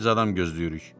Biz adam gözləyirik.